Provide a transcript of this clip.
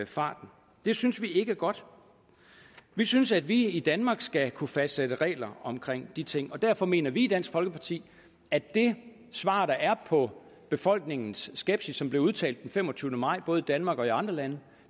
farten det synes vi ikke er godt vi synes at vi i danmark skal kunne fastsætte regler om de ting og derfor mener vi i dansk folkeparti at det svar der er på befolkningens skepsis der blev udtrykt den femogtyvende maj både i danmark og i andre lande